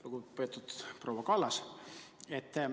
Lugupeetud proua Kallas!